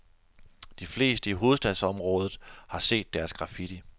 De fleste i hovedstadsområdet har set deres graffiti.